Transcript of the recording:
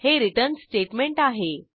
हे return statement आहे